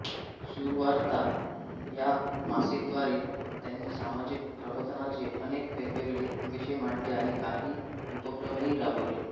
सुवार्ता या मासिकाद्वारे त्यांनी सामाजिक प्रबोधनाचे अनेक वेगवेगळे विषय मांडले आणि काही उपक्रमही राबवले